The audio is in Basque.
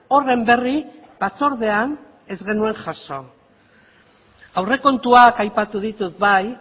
horren berri batzordean ez genuen jaso aurrekontuak aipatu ditut bai